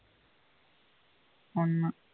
உன்ம